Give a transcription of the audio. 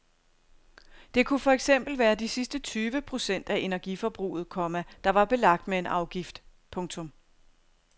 Det kunne for eksempel være de sidste tyve procent af energiforbruget, komma der var belagt med en afgift. punktum